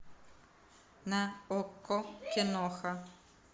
на окко киноха